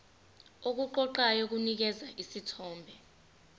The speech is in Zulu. okuqoqayo kunikeza isithombe